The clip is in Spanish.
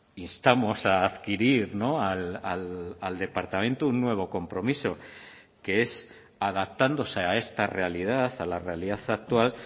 instamos a adquirir al departamento un nuevo compromiso que es adaptándose a esta realidad a la realidad actual